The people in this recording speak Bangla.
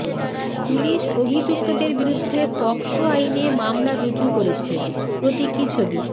পুলিশ অভিযুক্তদের বিরুদ্ধে পকসো আইনে মামলা রুজু করেছে প্রতীকী ছবি